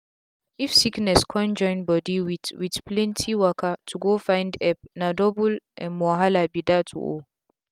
if sickness kon join body with with plenti waka to go find epp na double um wahala be dat o